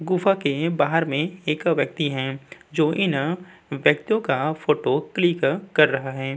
गुफा के बाहर में एक व्यक्ति है जो इन व्यक्तियों का फोटो क्लिक कर रहा है।